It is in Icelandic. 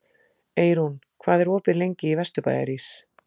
Eyrún, hvað er opið lengi í Vesturbæjarís?